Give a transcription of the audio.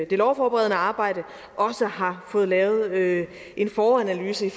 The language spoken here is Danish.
det lovforberedende arbejde har fået lavet lavet en foranalyse i